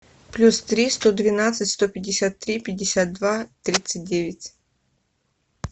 плюс три сто двенадцать сто пятьдесят три пятьдесят два тридцать девять